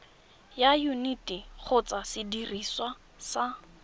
ya yuniti kgotsa sediriswa sa